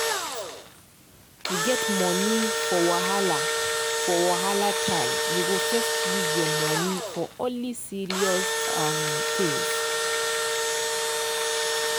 to get money for wahala for wahala time you go first use your money for only serious um things.